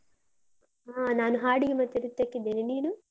ಹಾ, ನಾನು ಹಾಡಿಗೆ ಮತ್ತೆ ನೃತ್ಯಕ್ಕಿದ್ದೇನೆ. ನೀನು?